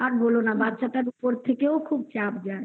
আর বলো না বাচ্ছাটার উপর থেকেও খুব চাপ যায়